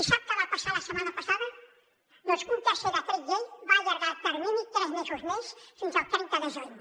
i sap què va passar la setmana passada doncs que un tercer decret llei va allargar el termini tres mesos més fins al trenta de juny